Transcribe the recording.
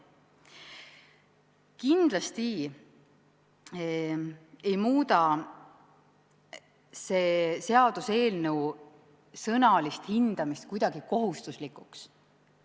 Kindlasti ei muuda see seaduseelnõu sõnalist hindamist kuidagi kohustuslikuks.